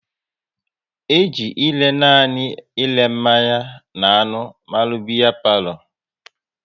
E ji ere nanị ere mmanya n'anụ mara palo biya